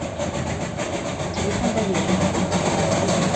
телефон доверия